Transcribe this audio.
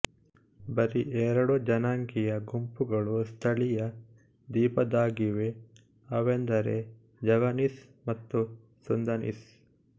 ಬರೀ ಎರಡು ಜನಾಂಗೀಯ ಗುಂಪುಗಳು ಸ್ಥಳೀಯ ದ್ವೀಪದ್ದಾಗಿವೆ ಅವೆಂದರೆ ಜಾವನೀಸ್ ಮತ್ತು ಸುಂದನೀಸ್